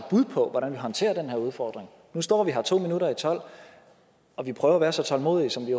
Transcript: bud på hvordan vi håndterer den her udfordring nu står vi her to minutter i tolv og vi prøver at være så tålmodige som vi